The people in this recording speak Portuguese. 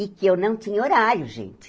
E que eu não tinha horário, gente.